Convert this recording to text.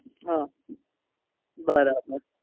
હ બરાબર